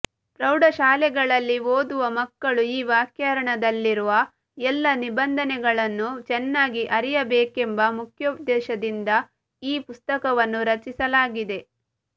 ಪ್ರೌಢಶಾಲೆಗಳಲ್ಲಿ ಓದುವ ಮಕ್ಕಳು ಈ ವ್ಯಾಕರಣದಲ್ಲಿರುವ ಎಲ್ಲ ನಿಬಂಧನೆಗಳನ್ನೂ ಚೆನ್ನಾಗಿ ಅರಿಯಬೇಕೆಂಬ ಮುಖ್ಯೋದ್ಧೇಶದಿಂದ ಈ ಪುಸ್ತಕವನ್ನು ರಚಿಸಲಾಗಿದೆ